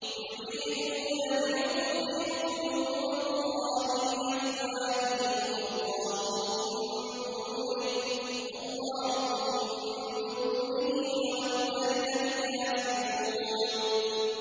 يُرِيدُونَ لِيُطْفِئُوا نُورَ اللَّهِ بِأَفْوَاهِهِمْ وَاللَّهُ مُتِمُّ نُورِهِ وَلَوْ كَرِهَ الْكَافِرُونَ